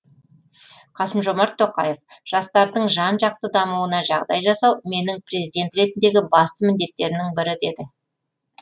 қасым жомарт тоқаев жастардың жан жақты дамуына жағдай жасау менің президент ретіндегі басты міндеттерімнің бірі деді